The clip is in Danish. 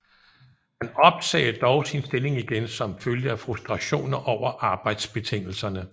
Han opsagde dog sin stilling igen som følge af frustrationer over arbejdsbetingelserne